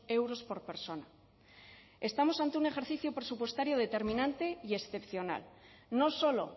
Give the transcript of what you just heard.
euros por persona estamos ante un ejercicio presupuestario determinante y excepcional no solo